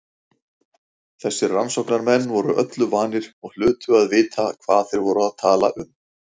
Þessir rannsóknarmenn voru öllu vanir og hlutu að vita hvað þeir voru að tala um.